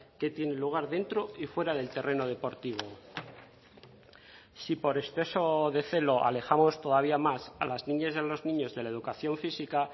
que tiene lugar dentro y fuera del terreno deportivo si por exceso de celo alejamos todavía más a las niñas y a los niños de la educación física